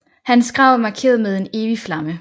Hans grav er markeret med en evig flamme